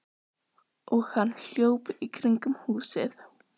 Og hann hljóp í kringum húsið.